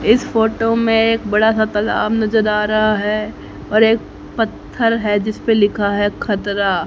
इस फोटो में एक बड़ा सा तालाब नजर आ रहा है और एक पत्थर है जिस पे लिखा है खतरा--